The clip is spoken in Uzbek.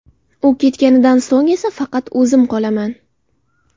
U ketganidan so‘ng esa faqat o‘zim qolaman”.